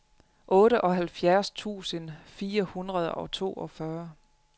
otteoghalvfjerds tusind fire hundrede og toogfyrre